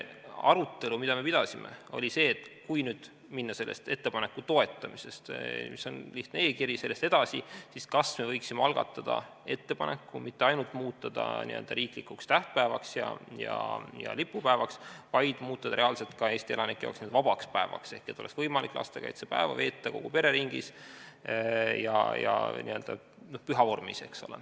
Arutelu, mida me pidasime, oli see, et kui nüüd minna sellest ettepaneku toetamisest edasi, see oli see lihtne e-kiri, siis kas me võiksime algatada ettepaneku mitte ainult muuta see päev riiklikuks tähtpäevaks ja lipupäevaks, vaid muuta see reaalselt Eesti elanikele vabaks päevaks, et oleks võimalik lastekaitsepäeva veeta kogu pere ringis ja n-ö püha vormis.